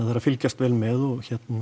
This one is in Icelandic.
fylgjast vel með og hérna